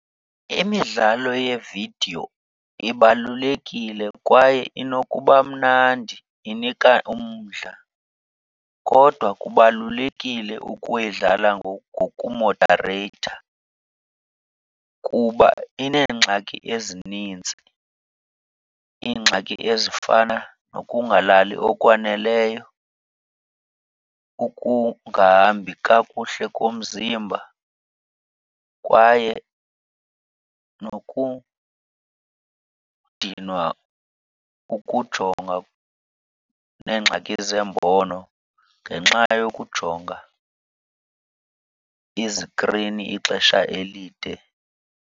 Imidlalo yeevidiyo ibalulekile kwaye inokuba mnandi, inika umdla. Kodwa kubalulekile ukuyidlala ngokumodareyitha kuba ineengxaki ezinintsi. Iingxaki ezifana nokungalali okwaneleyo, ukungahambi kakuhle komzimba kwaye nokudinwa ukujonga neengxaki zembono ngenxa yokujonga izikrini ixesha elide.